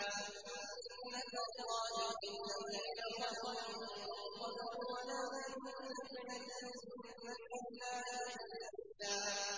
سُنَّةَ اللَّهِ فِي الَّذِينَ خَلَوْا مِن قَبْلُ ۖ وَلَن تَجِدَ لِسُنَّةِ اللَّهِ تَبْدِيلًا